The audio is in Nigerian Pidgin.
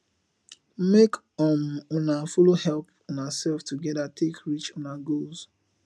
mek um una follow help unasef togeda take reach una goals